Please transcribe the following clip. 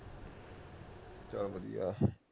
ਚੱਲ ਵਧੀਆ